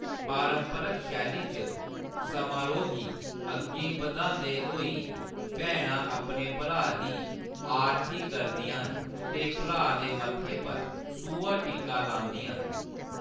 पारंपरक शैली च समारोह्‌‌ गी अग्गें बधांदे होई, भैनां अपने भ्राऽ दी आरती करदियां न ते भ्राऽ दे मत्थै पर सूहा टिक्का लांदियां न।